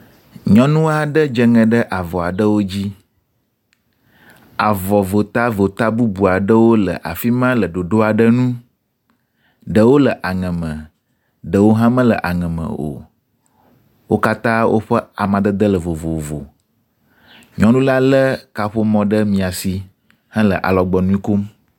Nyɔnu aɖe dzeŋe ɖe avɔ aɖewo dzi. Avɔ votata bubu aɖewo le afi ma le ɖoɖoɖ aɖe nu. Ɖewo le aŋe me, ɖewo hã mele aŋeme o. wo katã woƒe amadede le vovovo. Nyɔnu la le kaƒomɔ ɖe maisi hele alɔgbɔnu kom.